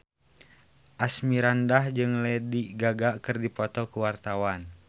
Asmirandah jeung Lady Gaga keur dipoto ku wartawan